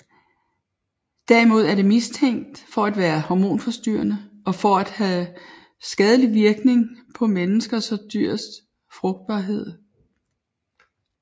Derimod er det mistænkt for at være hormonforstyrrende og for at have skadelig virkning på menneskers og dyrs frugtbarhed